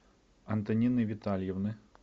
антонины витальевны